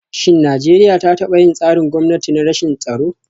Shin Najeriya ta taba yin tsarin gwamnati na rashin tsaro?